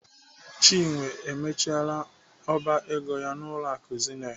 Chinwe emechiela ọba ego ya n'ụlọ akụ Zenith.